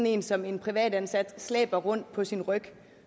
en som en privatansat slæber rundt på sin ryg